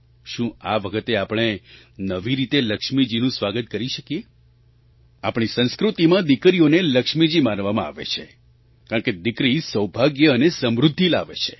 શું આ વખતે આપણે નવી રીતે લક્ષ્મીજીનું સ્વાગત કરી શકીએ આપણી સંસ્કૃતિમાં દીકરીઓને લક્ષ્મીજી માનવામાં આવે છે કારણકે દીકરી સૌભાગ્ય અને સમૃદ્ધિ લાવે છે